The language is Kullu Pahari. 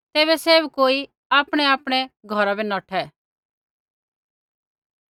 तैबै सैभ कोई आपणैआपणै घौरा बै नौठै